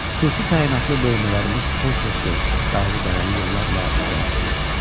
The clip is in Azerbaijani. Xüsusi təyinatlı bölmələrimiz kol-koslu, dağlı-dərəli yollarla irəliləyirdi.